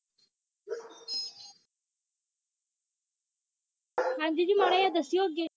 ਹਾਂਜੀ ਜੀ ਮਾੜਾ ਜੇਆ ਦੱਸਿਆ ਅੱਗੇ